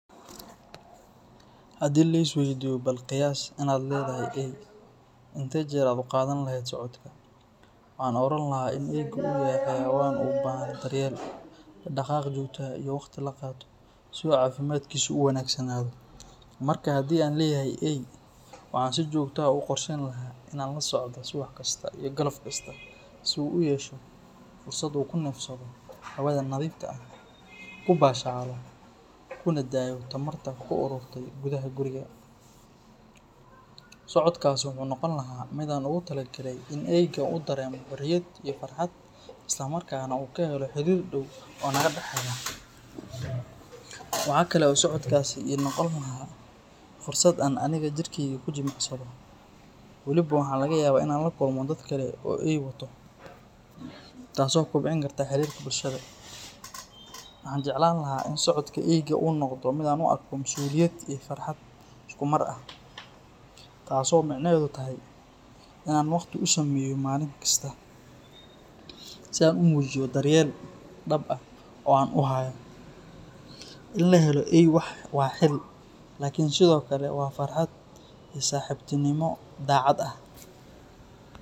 Haddii la is waydiiyo bal qiyaas inaad leedahay eey, intee heer aad u qaadan lahayd socodka, waxaan oran lahaa in eeygu uu yahay xayawaan u baahan daryeel, dhaqdhaqaaq joogto ah iyo waqti la qaato si uu caafimaadkiisu u wanaagsanaado. Marka haddii aan leeyahay eey, waxaan si joogto ah ugu qorsheyn lahaa inaan la socdo subax kasta iyo galab kasta, si uu u yeesho fursad uu ku neefsado hawada nadiifta ah, ku baashaalo, kuna daayo tamarta ku ururtay gudaha guriga. Socodkaasi wuxuu noqon lahaa mid aan ugu talagalay in eeyga uu dareemo xorriyad iyo farxad, isla markaana uu ka helo xiriir dhow oo naga dhexeeya. Waxa kale oo socodkaasi ii noqon lahaa fursad aan anigana jirkeyga ku jimicsado, weliba waxaa laga yaabaa in aan la kulmo dadka kale oo eeyo wato, taas oo kobcin karta xiriirka bulshada. Waxaan jeclaan lahaa in socodka eeyga uu noqdo mid aan u arko mas’uuliyad iyo farxad isku mar ah, taas oo micnaheedu yahay inaan waqti u sameeyo maalin kasta, si aan u muujiyo daryeel dhab ah oo aan u hayo. In la helo eey waa xil, laakiin sidoo kale waa farxad iyo saaxiibtinimo daacad ah.